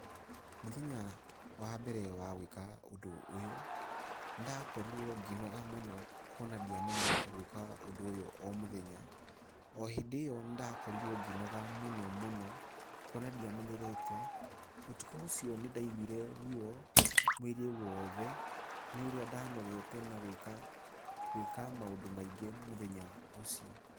Mũthenya wa mbere wa gwĩka ũndũ ũyũ, nĩ ndakorirwo ngĩnoga muno kuona ndiamenyerete gwĩka ũndũ ũyũ o mũthenya, o hĩndĩ ĩyo nĩ ndakorirwo ngĩnoga mũno mũno, kuona ndiamenyerete ũtukũ ũcio nĩ ndaiguire ruo mwĩrĩ wothe nĩ ũrĩa ndanogete na gwĩka, gwĩka maũndũ maingĩ mũthenya ũcio.